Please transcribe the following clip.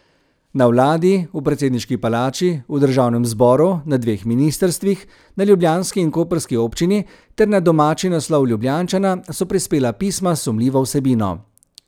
Na vladi, v predsedniški palači, v državnem zboru, na dveh ministrstvih, na ljubljanski in koprski občini ter na domači naslov Ljubljančana so prispela pisma s sumljivo vsebino.